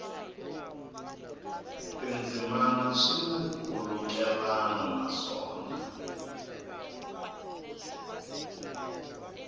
tindzimana swi na nkhulukelano naswona